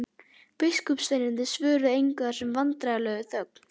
Biskupssveinarnir svöruðu engu og það varð vandræðaleg þögn.